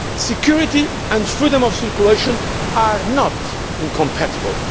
Security and freedom of circulation are not incompatible.